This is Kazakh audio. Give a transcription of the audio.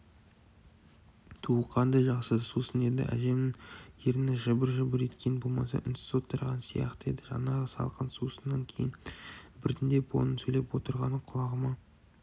түу қандай жақсы сусын еді әжемнің ерні жыбыр-жыбыр еткені болмаса үнсіз отырған сияқты еді жаңағы салқын сусыннан кейін біртіндеп оның сөйлеп отырғаны құлағыма